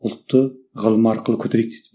ұлтты ғылым арқылы көтерейік деді